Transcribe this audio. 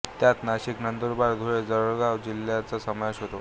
यात नाशिक नंदुरबार धुळे जळगाव जिल्ह्याचा समावेश होतो